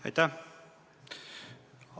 Aitäh!